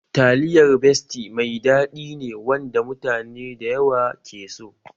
Taliyar besti mai daɗi ne wanda mutane da yawa ke so